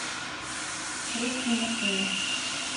русские машины